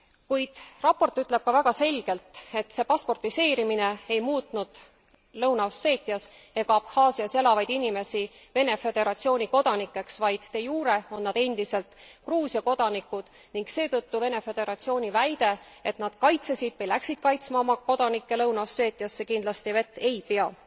Kuid raport ütleb ka väga selgelt, et see pasportiseerimine ei muutnud Lõuna Osseetias ega Abhaasias elavaid inimesi Vene Föderatsiooni kodanikeks, vaid de jure on nad endiselt Gruusia kodanikud, ning seetõttu Vene Föderatsiooni väide, et nad kaitsesid või läksid kaitsma oma kodanikke Lõuna Osseetiasse, kindlasti vett ei pea.